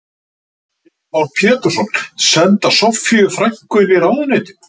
Heimir Már Pétursson: Senda Soffíu frænku inn í ráðuneytin?